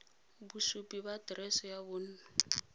bosupi ba aterese ya bonno